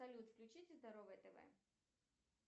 салют включите здоровое тв